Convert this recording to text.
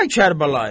Ay Kərbəlayı!